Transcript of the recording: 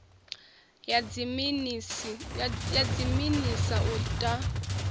ya dziminis a u ta